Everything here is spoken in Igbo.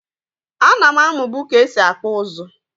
A nam amu bu ka esi akpụ ụzụ.